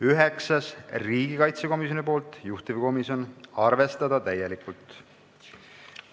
Üheksas on riigikaitsekomisjonilt, juhtivkomisjon: arvestada täielikult.